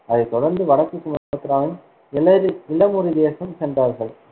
அதைத் தொடர்ந்து வடக்கு சுமத்ராவின் இமலி~ இளமுரிதேசம் சென்றார்கள்.